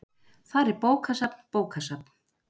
Þar er bókasafn bókasafn.